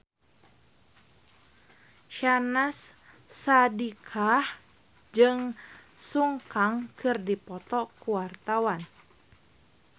Syahnaz Sadiqah jeung Sun Kang keur dipoto ku wartawan